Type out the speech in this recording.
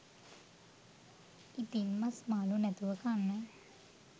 ඉතින් මස් මාළු නැතුව කන්න